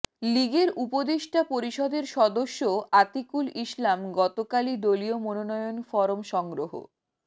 লীগের উপদেষ্টা পরিষদের সদস্য আতিকুল ইসলাম গতকালই দলীয় মনোনয়ন ফরম সংগ্রহ